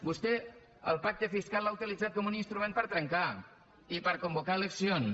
vostè el pacte fiscal l’ha utilitzat com un instrument per a trencar i per a convocar eleccions